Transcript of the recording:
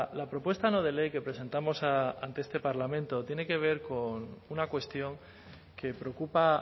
la propuesta no de ley que presentamos ante este parlamento tiene que ver con una cuestión que preocupa